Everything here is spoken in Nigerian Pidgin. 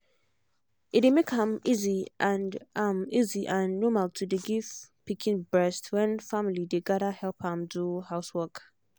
e dey make am easy and am easy and normal to dey give pikin breast when family dey gather help am do housework.